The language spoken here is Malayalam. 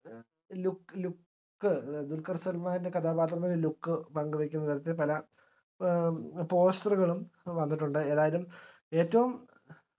ഏഹ് look look ദുൽഖർ സൽമാന്റെ കഥാപാത്രത്തിന്റെ look പങ്കുവെക്കുന്ന തരത്തിൽ പല poster കളും വന്നിട്ടുണ്ട് ഏതായാലും ഏറ്റവും